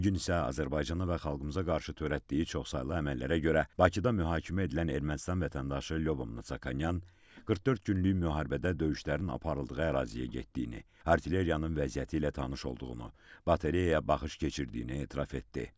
Bu gün isə Azərbaycana və xalqımıza qarşı törətdiyi çoxsaylı əməllərə görə Bakıda mühakimə edilən Ermənistan vətəndaşı Lyobomnonyan 44 günlük müharibədə döyüşlərin aparıldığı əraziyə getdiyini, artilleriyanın vəziyyəti ilə tanış olduğunu, bateriyaya baxış keçirdiyini etiraf etdi.